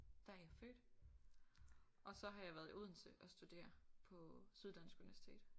Der er jeg født og så har jeg været i Odense og studere på Syddansk Univesitet